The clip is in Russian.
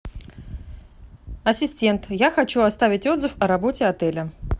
ассистент я хочу оставить отзыв о работе отеля